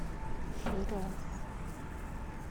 шираз